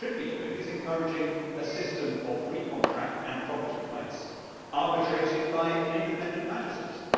What we should be doing is encouraging a system of free contract and property rights, arbitrated by an independent magistracy.